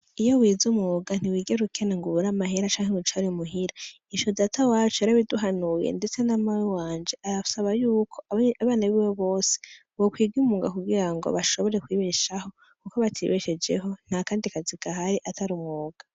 Iyo wize umwuga ntiwigera ukena ngo ubure amahera canke ngo wicare muhira. Ico datawacu yarabiduhanuye ndetse na mawe wanje ,arasaba yuko , abana biwe bose ,bokwiga umwuga kugira ngo bashobore kwibesheho, kuko batibeshejeho ntakandi kazi gahari atari umwuga.